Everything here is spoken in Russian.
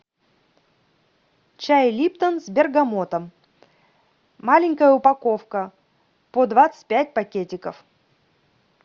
чай липтон с бергамотом маленькая упаковка по двадцать пять пакетиков